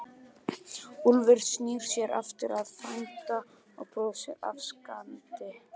Úlfur snýr sér aftur að frænda og brosir afsakandi.